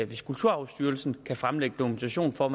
hvis kulturarvsstyrelsen kan fremlægge dokumentation for at